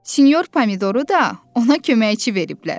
Sinyor Pomidoru da ona köməkçi veriblər.